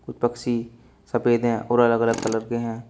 कुछ पक्षी सफेद है और अलग अलग कलर के हैं।